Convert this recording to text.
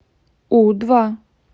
у два